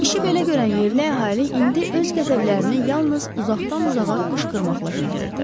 İşi belə görən yerli əhali indi öz qəzəblərini yalnız uzaqdan-uzağa qışqırmaqla bildirirdi.